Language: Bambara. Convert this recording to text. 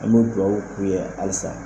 An b'o dugawu k'u ye halisa